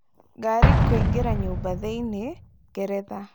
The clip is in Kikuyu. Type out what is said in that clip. Ngari kũingĩra nyũmba thĩinĩ ,Ngeretha.